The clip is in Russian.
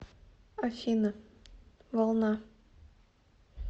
афина волна